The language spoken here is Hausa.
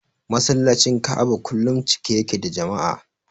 Masallacin Ka'aba kullum cike yake da jama'a.